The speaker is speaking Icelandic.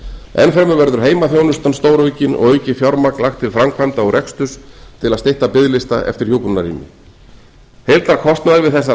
ennfremur verður heimaþjónusta stóraukin og aukið fjármagn lagt til framkvæmda og reksturs til að stytta biðlista eftir hjúkrunarrými heildarkostnaður við þessar aðgerðir